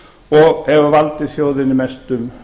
og hefur valdið þjóðinni mestum